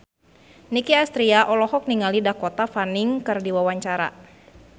Nicky Astria olohok ningali Dakota Fanning keur diwawancara